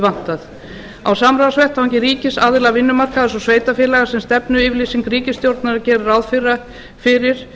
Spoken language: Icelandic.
vantað á samráðsvettvangi ríkis aðila vinnumarkaðarins og sveitarfélaga sem stefnuyfirlýsing ríkisstjórnarinnar gerir ráð fyrir